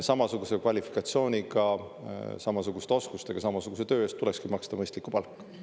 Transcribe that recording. Samasuguse kvalifikatsiooniga, samasuguste oskustega, samasuguse töö eest tulekski maksta mõistlikku palka.